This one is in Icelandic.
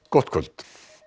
gott kvöld